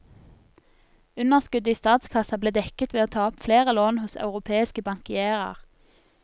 Underskuddet i statskassa ble dekket ved å ta opp flere lån hos europeiske bankierer.